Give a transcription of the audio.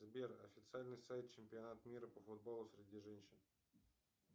сбер официальный сайт чемпионата мира по футболу среди женщин